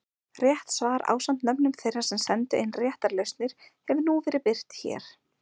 Rétt svar ásamt nöfnum þeirra sem sendu inn réttar lausnir hefur nú verið birt hér.